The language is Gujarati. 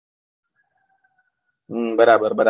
બરાબર બરાબર